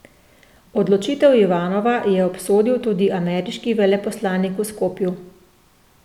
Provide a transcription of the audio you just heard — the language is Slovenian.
Odločitev Ivanova je obsodil tudi ameriški veleposlanik v Skopju.